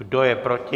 Kdo je proti?